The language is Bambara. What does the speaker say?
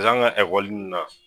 Paseke an ga ekɔli nin na